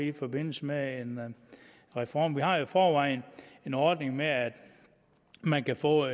i forbindelse med en reform vi har jo i forvejen en ordning med at man kan få